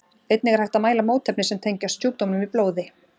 Einnig er hægt að mæla mótefni sem tengjast sjúkdómnum í blóði.